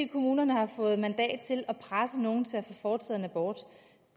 kommunerne har fået mandat til at presse nogen til at få foretaget abort